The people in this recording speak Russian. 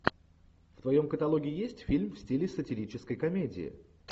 в твоем каталоге есть фильм в стиле сатирической комедии